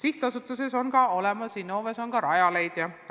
Innoves on loodud ka Rajaleidja võrgustik.